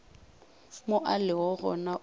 mo a lego gona o